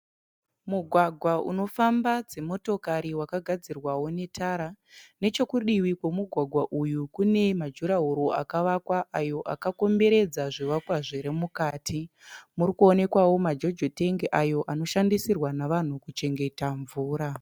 Mugwagwa unofamba dzimotokari wakagadzirwawo netara nechekudivi kwemugwagwa uyu kune majuraworo akavakwa ayo akakomberedza zvivakwa zviri mukati, kuri kuonekwawo majojo tengi ayo anoshandiswa nevanhu kuchengeterwa mvura.